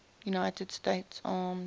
united states armed